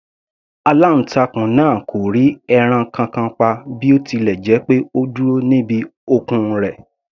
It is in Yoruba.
Aláǹtakùn náà kò rí ẹran kankan pa bí ó tilẹ̀ jẹ́ pé ó dúró níbi okùn rẹ̀.